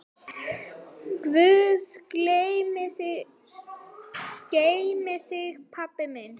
Guð geymi þig, pabbi minn.